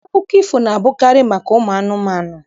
Akụkọ ifo na-abụkarị maka ụmụ anụmanụ.